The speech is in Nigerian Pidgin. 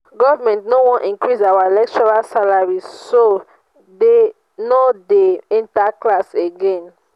government no wan increase our lecturers salary so dey no dey enter class again